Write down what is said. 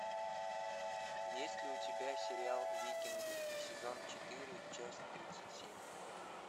есть ли у тебя сериал викинги сезон четыре часть тридцать семь